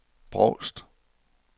Brovst